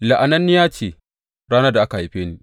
La’ananniya ce ranar da aka haife ni!